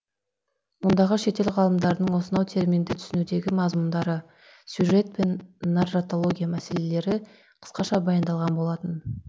ондағы шетел ғалымдарының осынау терминді түсінудегі мазмұндары сюжет пен нарратология мәселелері қысқаша баяндалған болатын